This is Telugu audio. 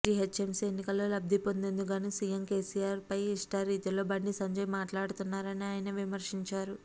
జీహెచ్ఎంసీ ఎన్నికల్లో లబ్దిపొందేందుకు గాను సీఎం కేసీఆర్ పై ఇష్టారీతిలో బండి సంజయ్ మాట్లాడారని ఆయన విమర్శించారు